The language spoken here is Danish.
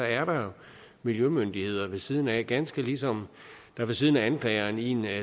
er der miljømyndigheder ved siden af ganske ligesom der ved siden af anklageren i en